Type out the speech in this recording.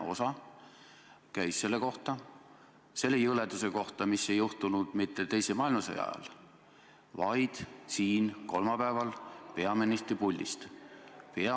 Ta küsis selle jõleduse kohta, mis ei juhtunud mitte teise maailmasõja ajal, vaid kolmapäeval siin saalis, kui peaministri kohusetäitja puldis oli.